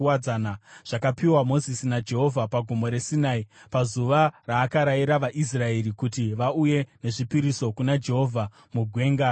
zvakapiwa Mozisi naJehovha paGomo reSinai pazuva raakarayira vaIsraeri kuti vauye nezvipiriso kuna Jehovha muGwenga reSinai.